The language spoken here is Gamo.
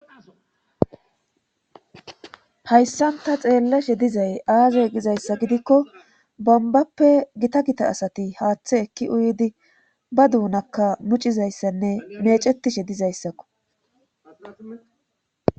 hayssanta xeellashe dizay aazay gizayssa gidikko bambappe gita gita asati haaththe ekki uyidi ba duunakka mucizayssanne mecetishe dizayssakko